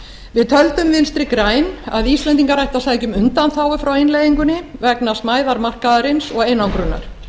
við töldum vinstri græn að íslendingar ættu að sækja um undanþágu frá innleiðingunni vegna smæðar markaðarins og einangrunar